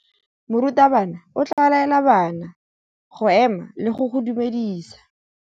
Morutabana o tla laela bana go ema le go go dumedisa.